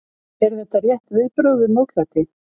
Eru þetta rétt viðbrögð við mótlæti?